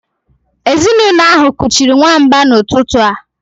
Ezinụlọ ahụ kuchiri nwamba n'ụtụtụ a